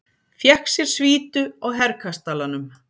Fékk sér svítu á Herkastalanum.